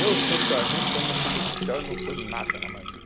Eu sou sargento, estou indo na suboficial e não sou nada na marinha.